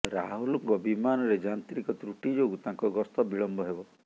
ରାହୁଲଙ୍କ ବିମାନରେ ଯାନ୍ତ୍ରିକ ତ୍ରୁଟି ଯୋଗୁ ତାଙ୍କ ଗସ୍ତ ବିଳମ୍ବ ହେବ